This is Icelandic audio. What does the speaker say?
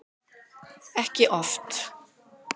Ekki oft.